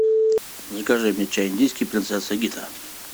закажи мне чай индийский принцесса гита